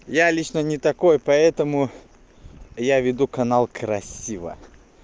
я лично не такой поэтому я веду канал красиво